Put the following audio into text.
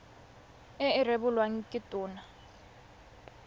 e e rebolwang ke tona